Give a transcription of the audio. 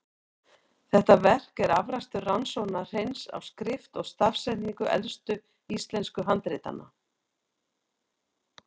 Þetta verk er afrakstur rannsókna Hreins á skrift og stafsetningu elstu íslensku handritanna.